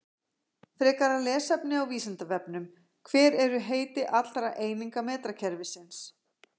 Frekara lesefni á Vísindavefnum: Hver eru heiti allra eininga metrakerfisins?